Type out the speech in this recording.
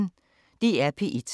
DR P1